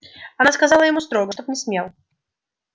она сказала ему строго чтоб не смел